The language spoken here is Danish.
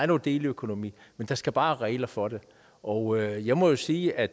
noget deleøkonomi men der skal bare være regler for det og jeg må sige at